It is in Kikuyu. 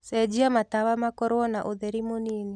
cenjĩa matawa makorwo na ũtherĩ mũnĩnĩ